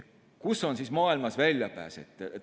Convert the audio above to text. Kus on siis maailmas väljapääs?